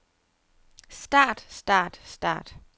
start start start